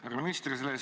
Härra minister!